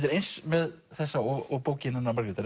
er eins með þessa og bókina hennar Margrétar